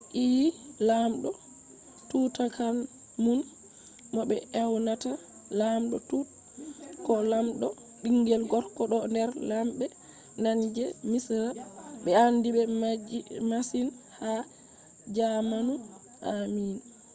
ii! lamɗo tutankhamun mo be ewnata ''lamɗo tut'' ko ''lamɗo bingel gorko'' do der lambbe nane je misra be andibe masin ha jamanu ammin